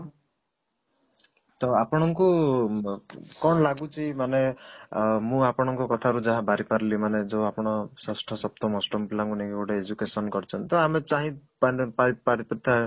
ତ ଆପଣ ଙ୍କୁ ବ କ'ଣ ଲାଗୁଛି ମାନେ ଅଂ ମୁଁ ଆପଣ ଙ୍କ କଥା ରୁ ଯାହା ବାରି ପାରିଲି ମାନେ ଯୋଉ ଆପଣ ଷଷ୍ଠ ସପ୍ତମ ଅଷ୍ଟମ ପିଲା ଙ୍କୁ ନେଇ ଗୋଟେ education କରିଛନ୍ତି ତ ଆମେ ଚାହିଁ ପାରିଥାଏ